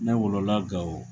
Ne wolola Gao.